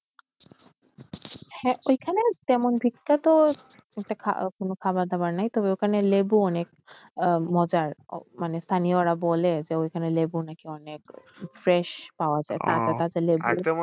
হ্যাঁ ওই খানে তেমন বিখ্যাত বলতে কোনও খাবার দাবার নাই তবে ওইখানে লেবু অনেক আহ মজার মানে স্থানিয়রা বলে ওইখানের লেবু অনেক fresh পাওয়া তাজা তাজা লেবু।